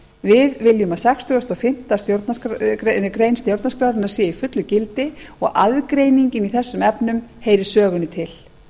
við viljum að sextugasta og fimmtu grein stjórnarskrárinnar sé í fullu gildi og aðgreiningin í þessum efnum heyri sögunni til